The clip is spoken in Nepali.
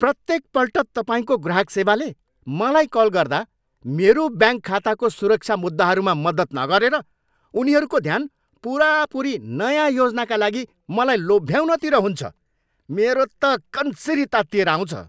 प्रत्येकपल्ट तपाईँको ग्राहक सेवाले मलाई कल गर्दा मेरो ब्याङ्क खाताको सुरक्षा मुद्दाहरूमा मद्दत नगरेर उनीहरूको ध्यान पुरापुरी नयाँ योजनाका लागि मलाई लोभ्याउनतिर हुन्छ। मेरो त कन्सिरी तात्तिएर आउँछ।